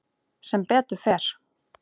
Sem betur fer.